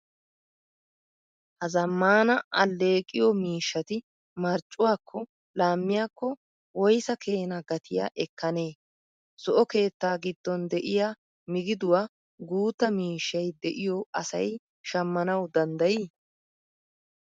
Ha zamaana alleeqiyo miishshati marccuwaakko laammiyaakko woysaa keena gatiya ekkanee? Zo"o keettaa gidoon de'iyaa migiduwa guutta miishshay de'iyo asay shammanawu danddayi?